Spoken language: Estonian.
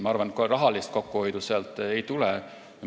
Ma arvan, et rahalist kokkuhoidu sealt kohe ei tule.